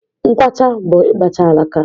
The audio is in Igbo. Nkwacha bụ ịkpacha alaka.